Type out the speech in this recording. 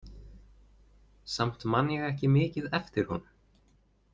Samt man ég ekki mikið eftir honum.